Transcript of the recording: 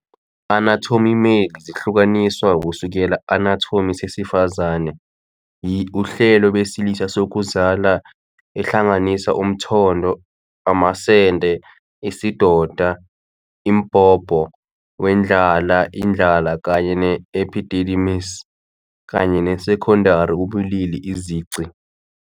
Anatomy Male is zihlukaniswa kusukela anatomy zesifazane yi uhlelo besilisa zokuzala, ehlanganisa umthondo, amasende, isidoda imbobo, wendlala indlala kanye epididymis, kanye seconday ubulili izici.